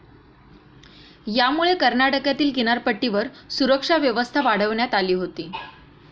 यामुळे कर्नाटकातील किनारपट्टीवर सुरक्षा व्यवस्था वाढविण्यात आली होती.